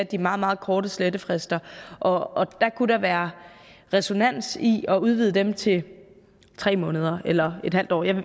de meget meget korte slettefrister og der kunne der være ræson i at udvide dem til tre måneder eller